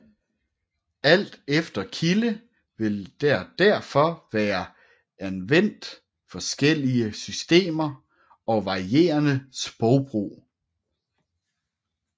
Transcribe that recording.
Alt efter kilde vil der derfor være anvendt forskellige systemer og varierende sprogbrug